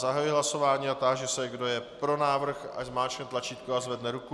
Zahajuji hlasování a táži se, kdo je pro návrh, ať zmáčkne tlačítko a zvedne ruku.